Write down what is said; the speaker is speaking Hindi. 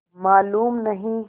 मालूम नहीं